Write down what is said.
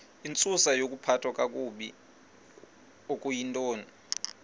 intsusayokuphathwa kakabi okuyintoni